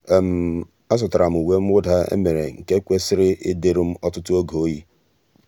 àzụ́tàrà m uwe mwụ́dà èmèrè nke kwèsị́rị́ ị́dị́rụ́ m ọtụ́tụ́ óge oyi.